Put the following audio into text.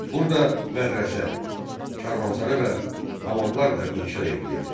Burda mədrəsə, karvansara və hamamlar da inşa edilirdi.